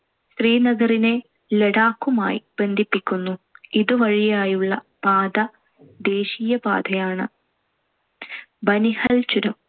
ശ്രീനഗറിനെ ലഡാക്കുമായി ബന്ധിപ്പിക്കുന്നു. ഇതുവഴിയുള്ള പാത ദേശീയപാതയാണ്‌. ബനിഹൽ ചുരം